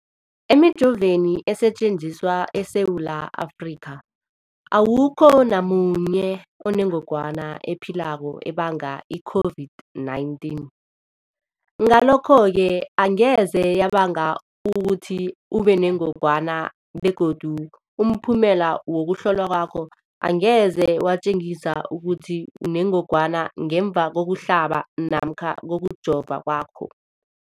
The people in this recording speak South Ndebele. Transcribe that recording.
Emijoveni esetjenziswa eSewula Afrika, awukho namunye onengog wana ephilako ebanga i-COVID-19. Ngalokho-ke angeze yabanga ukuthi ubenengogwana begodu umphumela wokuhlolwan kwakho angeze watjengisa ukuthi unengogwana ngemva kokuhlaba namkha kokujova kwakho.